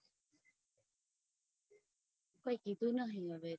કોઈ કીધું હવે કઈ